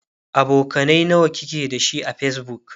abokanai nawa kike da shi a facebook?